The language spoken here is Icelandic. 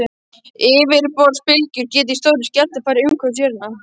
Yfirborðsbylgjur geta í stórum skjálftum farið umhverfis jörðina.